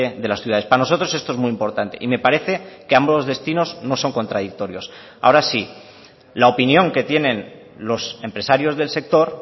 de las ciudades para nosotros esto es muy importante y me parece que ambos destinos no son contradictorios ahora sí la opinión que tienen los empresarios del sector